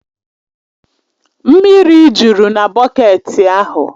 Mmiri jụrụ na bọketi ahụ